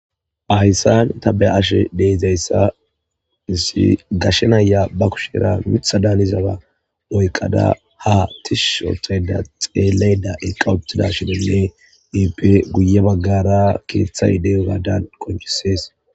Haysan ta beyashe dizaya sa gashe naya be kushera mithi danizaysa oykada ha tishi histada xelayda eqa uttada ippe guye bagara kethay de'iyogadani qoncises